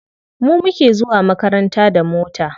Mu muke zuwa makaranta da mota.